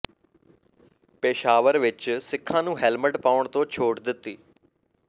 ਪੇਸ਼ਾਵਰ ਵਿਚ ਸਿੱਖਾਂ ਨੂੰ ਹੈਲਮੈਟ ਪਾਉਣ ਤੋਂ ਛੋਟ ਮਿਲੀ